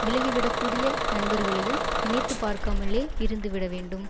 விலகிவிடக்கூடிய நண்பர்களையும் நினைத்து பார்ககாமலே இருந்து விட வேண்டும்